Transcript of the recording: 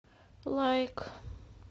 лайк